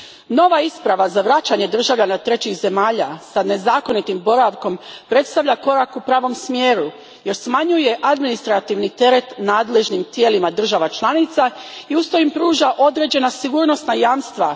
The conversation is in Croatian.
Nova isprava za vraćanje državljana trećih zemalja s nezakonitim boravkom predstavlja korak u pravom smjeru jer smanjuje administrativni teret nadležnim tijelima država članica i usto im pruža određena sigurnosna jamstva.